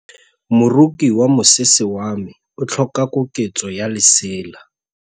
Moroki wa mosese wa me o tlhoka koketsô ya lesela.